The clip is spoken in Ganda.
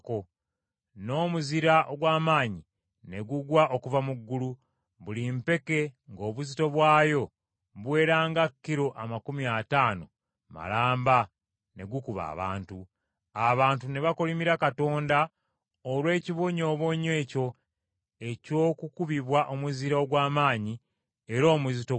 N’omuzira ogw’amaanyi ne gugwa okuva mu ggulu, buli mpeke ng’obuzito bwayo buwera nga kilo amakumi ataano malamba ne gukuba abantu. Abantu ne bakolimira Katonda olw’ekibonyoobonyo ekyo eky’okukubibwa omuzira ogw’amaanyi era omuzito bwe gutyo.